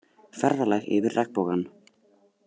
Ferðalag yfir regnbogann